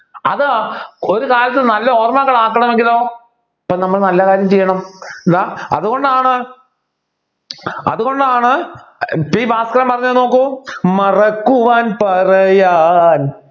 അത് ഒരുകാലത്ത് നല്ല ഓർമ്മകൾ ആക്കണമെങ്കിലോ ഇപ്പൊ നമ്മൾ നല്ല കാര്യം ചെയ്യണം എന്താ അതുകൊണ്ടാണ് അതുകൊണ്ടാണ് പി ഭാസ്കർ പറഞ്ഞത് നോക്കൂ മറക്കുവാൻ പറയാൻ